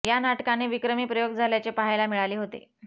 या नाटकाने विक्रमी प्रयोग झाल्याचे पाहायला मिळाले होते